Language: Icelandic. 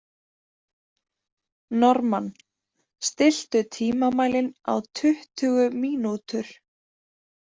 Normann, stilltu tímamælinn á tuttugu mínútur.